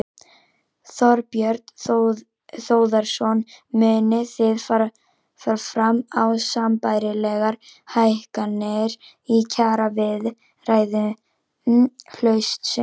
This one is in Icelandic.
Þorbjörn Þórðarson: Munið þið fara fram á sambærilegar hækkanir í kjaraviðræðum haustsins?